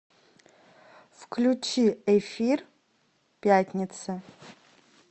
включи эфир пятница